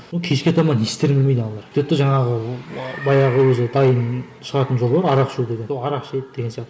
кешке таман не естерін білмейді аналар сөйтеді де жаңағы баяғы өзі дайын шығатын жол бар арақ ішу деген сол арақ ішеді деген сияқты